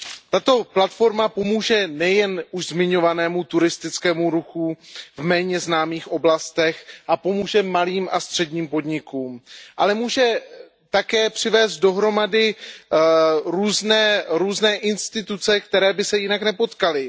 Tato platforma pomůže nejen už zmiňovanému turistickému ruchu v méně známých oblastech a pomůže malým a středním podnikům, ale může také přivést dohromady různé instituce, které by se jinak nepotkaly.